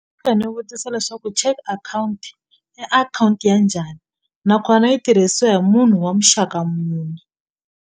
ni vutisa leswaku check akhawunti i akhawunti ya njhani nakona yi tirhisiwa hi munhu wa muxaka muni.